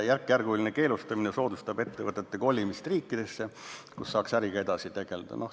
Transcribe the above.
Järkjärguline keelustamine soodustab ettevõtete kolimist riikidesse, kus saaks äriga edasi tegeleda.